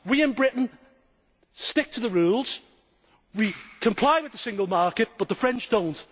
We in Britain stick to the rules and we comply with the single market, but the French do not.